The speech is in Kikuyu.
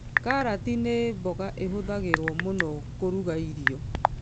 Karati nĩ mboga ĩhũthagĩrwo mũno kũruga irio